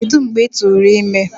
Kedu mgbe ị tụrụ ime?